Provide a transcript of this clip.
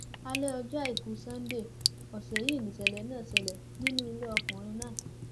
alẹ ọjọ àìkú sannde ọsẹ yìí nìṣẹlẹ náà ṣẹlẹ nínú ilé ọkùnrin náà